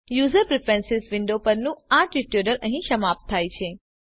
user preferences window પરનું આ tutorial અહી સમાપ્ત થાય છે